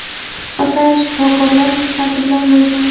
qisqa sayr shifokorlar ruxsati bilan bo‘lgan.